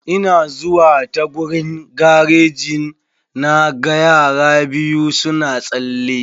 Ina zuwa ta gurin garejin na ga yara biyu suna tsalle.